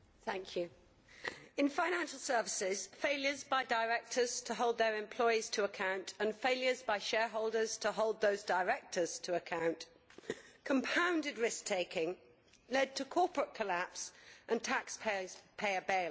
Mr President, in financial services, failures by directors to hold their employees to account and failures by shareholders to hold those directors to account compounded risk taking, led to corporate collapse and taxpayers' bailouts.